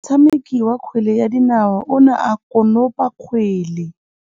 Motshameki wa kgwele ya dinaô o ne a konopa kgwele.